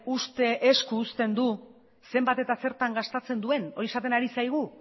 uste esku uzten du zenbat eta zertan gastatzen duen hori esaten ari zaigu